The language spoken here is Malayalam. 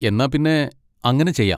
എന്നാ പിന്നെ അങ്ങനെ ചെയ്യാം.